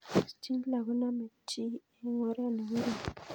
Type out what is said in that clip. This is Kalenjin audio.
Schindler ko nsmei chii eng' or ne korom